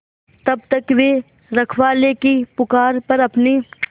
तब तक वे रखवाले की पुकार पर अपनी